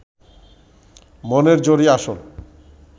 মনের জোরই আসল